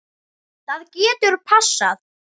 Það getur passað.